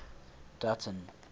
dutton